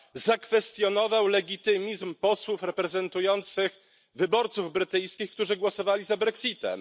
zakwestionował legitymizm posłów reprezentujących wyborców brytyjskich, którzy głosowali za brexitem.